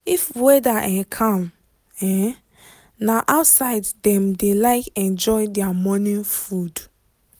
if weather um calm um na outside dem dey like enjoy their morning food.